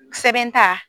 Sɛbɛn ta